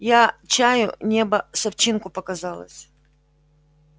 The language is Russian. я чаю небо с овчинку показалось